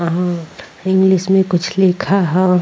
आ इंग्लिश में कुछ लिखा हो।